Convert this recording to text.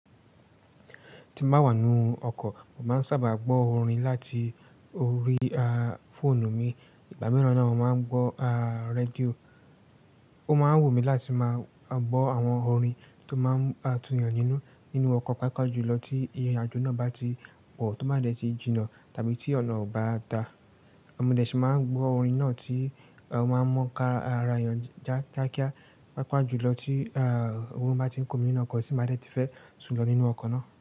Tí mo bá wà nínú ọkọ̀, mo máa ń sábà gbọ́ orin láti orí á fọ́ọ̀nù mi. Ogba mira na mo máa ń gbọ́ á rédíò. Ó máa ń wù mí láti máa gbọ́ àwọn orin tó máa ń bá tunyan nínú, nínú ọkọ̀, pàápàá jùlọ tí ìrìnàjò náà bá ti pọ̀ tó baa dẹ́ ti jìnnà tàbí tí ọ̀nà o bá da. Mo dé sì máa ń gbọ́ orin náà tí o máa ń mu kara èèyàn já kíákíá, pàápàá jùlọ tí à ọ̀rùn bá ti ń kunmi nínú ọkọ̀ tì n baa dẹ́ ti fẹ́ sùn lọ nínú ọkọ̀ náà.